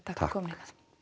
takk fyrir